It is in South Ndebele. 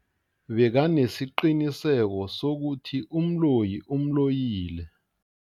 Bekanesiqiniseko sokuthi umloyi umloyile.